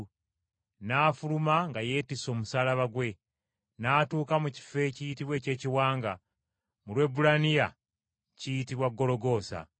n’afuluma nga yeetisse omusaalaba gwe, n’atuuka mu kifo ekiyitibwa eky’Ekiwanga, mu Lwebbulaniya kiyitibwa Gologoosa.